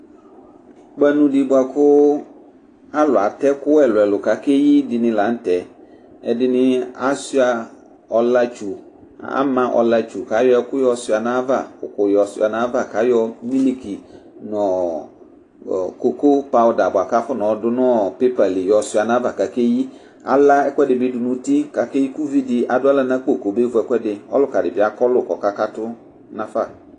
Ukpanu di bua ku alu atɛ ɛku ɛlu ɛlu ku akeyi dini la nu tɛ Ɛdini asuia ɔlatsu ama ɔlatsu ku ayɔ ɛku yɔ suia nu ayava uku suia nu ayava ku ayɔ miliki nu koko pawuda bua ku afɔna ɔdu nu pepa yɔsuia nu ayava kakeyi Ala ɛku ɛdi bi nu uti kakeyi ku uvi di adu aɣla na akpo kɔmevu ɔluka di bi akɔlu ku ɔkakatu nafa